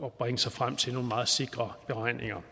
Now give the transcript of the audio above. at bringe sig frem til nogle meget sikre beregninger